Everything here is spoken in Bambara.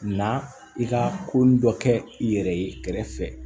Na i ka ko dɔ kɛ i yɛrɛ ye kɛrɛfɛ